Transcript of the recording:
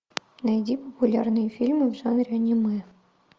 найди популярные фильмы в жанре аниме